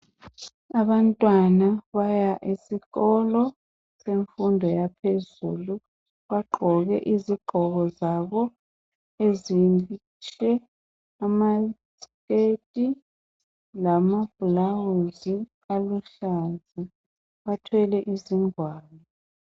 Abantwana baya esikolo semfundo yaphezulu bagqoke izigqoko zabo ezinhle amaskirt lamablawuzi aluhlaza bathwele izigwalo.